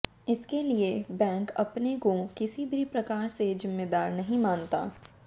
इसके लिए बैंक अपने को किसी भी प्रकार से जिम्मेदार नहीं मानता